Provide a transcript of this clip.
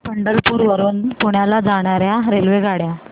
पंढरपूर वरून पुण्याला जाणार्या रेल्वेगाड्या